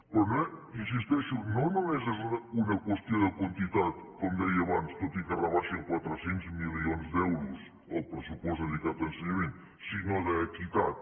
però hi insisteixo no només és una qüestió de quantitat com deia abans tot i que rebaixen quatre cents milions d’euros el pressupost dedicat a ensenyament sinó d’equitat